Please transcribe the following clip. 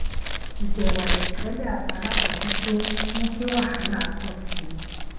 ìbẹwò àìròtẹlè àwọn alábòjútó mú kí wahala pọ sí i